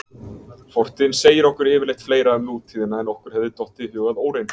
Fortíðin segir okkur yfirleitt fleira um nútíðina en okkur hefði dottið í hug að óreyndu.